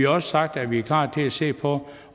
også sagt at vi er klar til at se på